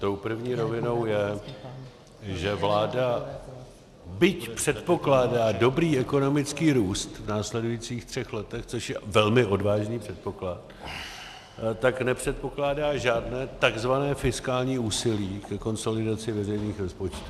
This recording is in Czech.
Tou první rovinou je, že vláda, byť předpokládá dobrý ekonomický růst v následujících třech letech, což je velmi odvážný předpoklad, tak nepředpokládá žádné tzv. fiskální úsilí ke konsolidaci veřejných rozpočtů.